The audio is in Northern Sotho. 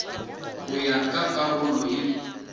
go ya ka karolo ye